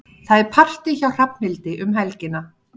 Það er partí hjá Hrafnhildi um helgina.